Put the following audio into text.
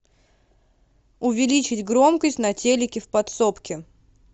увеличить громкость на телике в подсобке